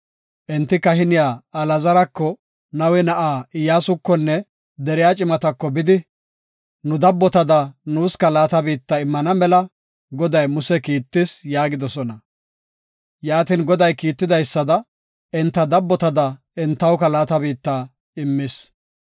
Enti kahiniya Alaazarako, Nawe na7aa Iyyasukonne deriya cimatako bidi, “Nu dabbotada nuuska laata biitta immana mela Goday Muse kiittis” yaagidosona. Yaatin, Goday kiitidaysada enta dabbotada entawuka laata biitta immis.